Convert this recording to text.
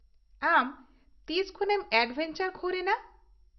ᱟᱢ ᱛᱤᱥᱠᱷᱚᱱᱮᱢ ᱮᱰᱵᱷᱮᱧᱪᱟᱨ ᱠᱷᱳᱨ ᱮᱱᱟ ?